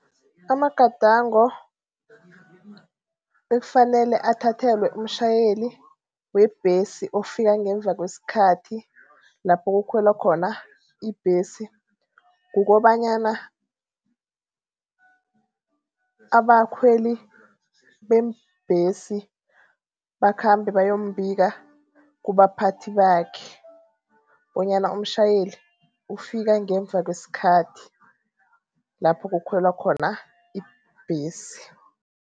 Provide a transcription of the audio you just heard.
Amagadango ekufanele athathelwe umtjhayeli webhesi ofika ngemva kweskhathi lapho kukhwelwa khona ibhesi, kukobanyana abakhweli beembhesi bakhambe bayombika kubamphathi bakhe, bonyana umtjhayeli ufika ngemva kweskhathi lapho kukhwelwa khona ibhesi.